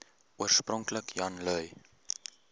oorspronklik jan lui